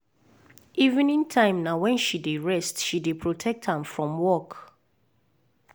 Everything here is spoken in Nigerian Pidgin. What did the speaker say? evening time na wen she d rest she dey protect am from work.